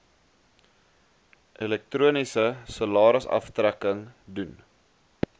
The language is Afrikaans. elektroniese salarisaftrekking doen